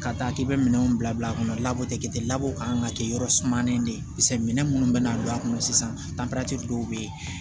Ka taa k'i bɛ minɛnw bila bila kɔnɔ labɔ tɛ kɛ ten labɔ kan ka kɛ yɔrɔ sumalen de ye minɛn minnu bɛna don a kɔnɔ sisan dɔw bɛ yen